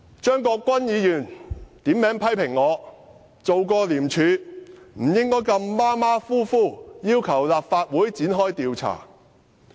張國鈞議員點名批評我曾經在廉署工作，不應該如此馬虎地要求立法會展開調查。